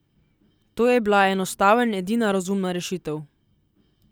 To je bla enostavn edina razumna rešitev.